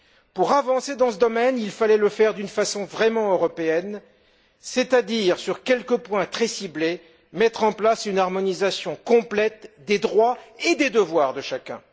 Pour avancer dans ce domaine, il fallait le faire d'une façon vraiment européenne, c'est à dire en procédant, pour quelques points très ciblés, à une harmonisation complète des droits et des devoirs de chacun.